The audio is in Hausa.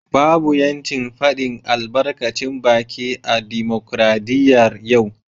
Babu ‘yancin fadin albarkacin baki a dimokradiyyar yau